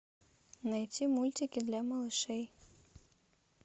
найти мультики для малышей